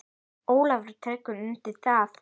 Ólafur tekur undir það.